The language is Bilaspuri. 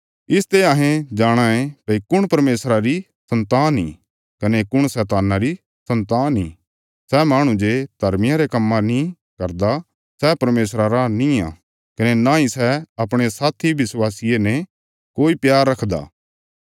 इसते अहें जाणाँ ये भई कुण परमेशरा री सन्तान इ कने कुण शैतान्ना री सन्तान इ सै माहणु जे धर्मा रे काम्म नीं करदा सै परमेशरा रा निआं कने नांई सै अपणे साथी विश्वासिये ने कोई प्यार रखदा